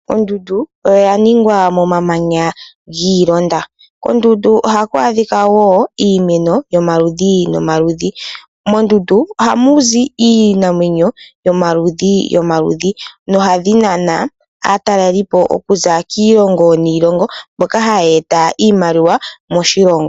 Ondundu oya ningwa momamanya giilonda, kondundu ohaku adhika wo iimeno yomaludhi nomaludhi. Mondundu oha mu zi iinamwenyo yomaludhi nomaludhi, nohadhi nana aataleli oku za kiilongo niilongo mbyoka hayie eta iimaliwa moshilongo.